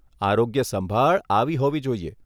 આરોગ્ય સંભાળ આવી હોવી જોઈએ.